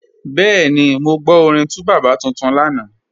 Bẹẹni, mọ́ gbọ́ orin 2Baba tuntun lánà.